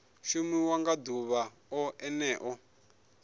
shumiwa nga ḓuvha o ḽeneo